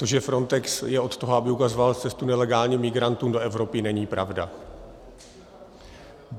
To, že Frontex je od toho, aby ukazoval cestu nelegálním migrantům do Evropy, není pravda.